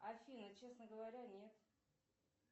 афина честно говоря нет